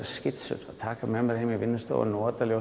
skissur að taka með mér heim á vinnustofunni